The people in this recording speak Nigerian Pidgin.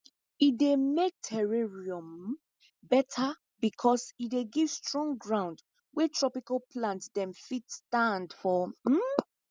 e dey make terrarium um better because e dey give strong ground wey tropical plant dem fit stand for um